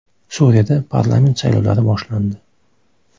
Suriyada parlament saylovlari boshlandi.